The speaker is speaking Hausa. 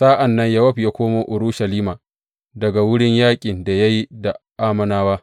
Sa’an nan Yowab ya komo Urushalima daga wurin yaƙin da ya yi da Ammonawa.